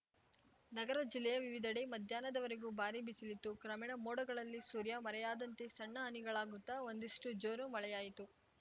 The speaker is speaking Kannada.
ನಗರ ಜಿಲ್ಲೆಯ ವಿವಿಧೆಡೆ ಮಧ್ಯಾಹ್ನದವರೆಗೂ ಭಾರೀ ಬಿಸಿಲಿತ್ತು ಕ್ರಮೇಣ ಮೋಡಗಳಲ್ಲಿ ಸೂರ್ಯ ಮರೆಯಾದಂತೆ ಸಣ್ಣ ಹನಿಗಳಾಗುತ್ತ ಒಂದಿಷ್ಟುಜೋರು ಮಳೆಯಾಯಿತು